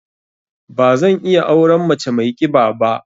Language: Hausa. Ba zan iya auren mace mai ƙiba ba.